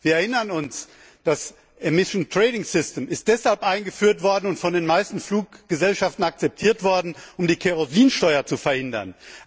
Wir erinnern uns Das Emissionshandelssystem ist deshalb eingeführt und von den meisten Fluggesellschaften akzeptiert worden, um die Kerosinsteuer zu verhindern.